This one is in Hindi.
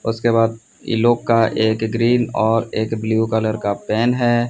उसके बाद ई लोग का एक ग्रीन और एक ब्लू कलर का पेन है।